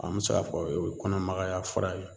An mɛ se k'a fɔ o ye kɔnɔmagaya fura ye